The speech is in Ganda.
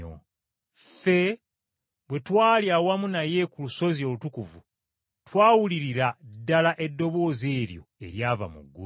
Ffe bwe twali awamu naye ku lusozi olutukuvu, twawulirira ddala eddoboozi eryo eryava mu ggulu.